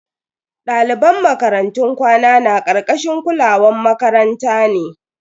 Daliban makarantun kwana na karkashin kulawan makaranta ne.